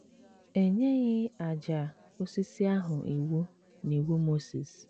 E nyeghị àjà osisi ahụ iwu n’Iwu Mozis.